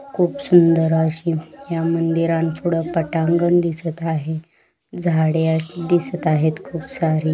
खूप सुंदर अशी या मंदिरांपुढ पटांगण दिसत आहे झाडे आहे दिसत आहेत खूप सारी --